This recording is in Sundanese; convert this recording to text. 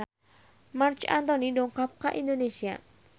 Marc Anthony dongkap ka Indonesia